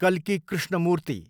कल्की कृष्णमूर्ति